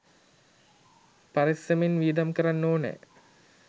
පරෙස්සමෙන් වියදම් කරන්න ඕනැ